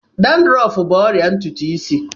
Dandrọf bụ ọrịa ntutu isí.